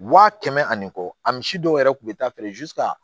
Wa kɛmɛ ani kɔ a misi dɔw yɛrɛ tun bɛ taa feere